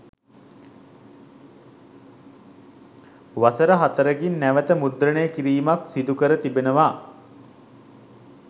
වසර හතරකින් නැවත මුද්‍රණය කිරීමක් සිදුකර තිබෙනවා.